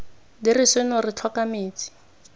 dire seno re tlhoka metsi